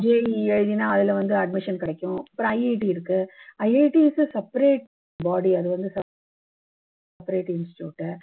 JEE எழுதுனீன்னா அதுல வந்து admission கிடைக்கும் அப்பறம் IIT இருக்கு IIT is a separate body அது வந்து separate institute உ